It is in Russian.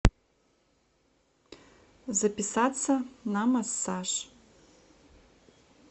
записаться на массаж